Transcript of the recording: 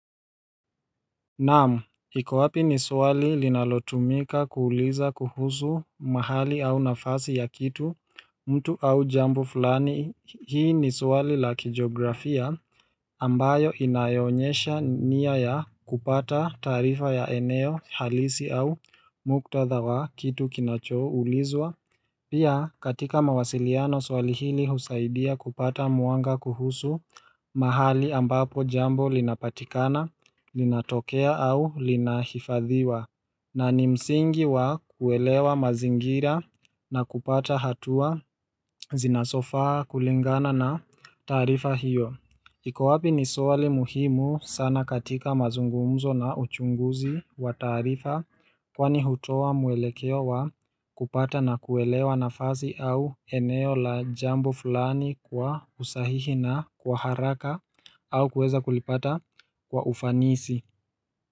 Naam, hiko wapi ni swali linalotumika kuuliza kuhusu mahali au nafasi ya kitu mtu au jambu fulani. Hii ni swali la kijografia ambayo inayoonyesha nia ya kupata tarifa ya eneo halisi au muktadha wa kitu kinachoo ulizwa. Pia katika mawasiliano swali hili husaidia kupata mwanga kuhusu mahali ambapo jambo linapatikana, linatokea au linahifadhiwa. Na ni msingi wa kuelewa mazingira na kupata hatua zinasofaa kulingana na tarifa hiyo. Iko wapi ni swali muhimu sana katika mazungumzo na uchunguzi wa tarifa. Kwani hutoa mwelekeo kupata na kuelewa nafazi au eneo la jambo fulani kwa usahihi na kwa haraka au kuweza kulipata kwa ufanisi.